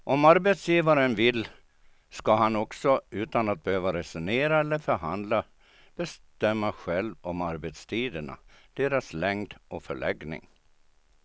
Om arbetsgivaren vill ska han också utan att behöva resonera eller förhandla bestämma själv om arbetstiderna, deras längd och förläggning.